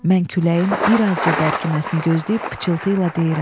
Mən küləyin bir azca bərkiməsini gözləyib pıçıltı ilə deyirəm.